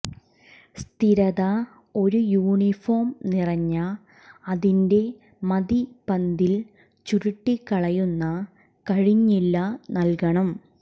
സ്ഥിരത ഒരു യൂണിഫോം നിറഞ്ഞ അതിന്റെ മതി പന്തിൽ ചുരുട്ടിക്കളയുന്ന കഴിഞ്ഞില്ല നൽകണം